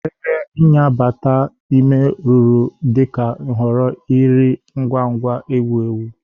Ebe nya bata ime rụrụ dị ka nhọrọ nri ngwa ngwa ewu ewu.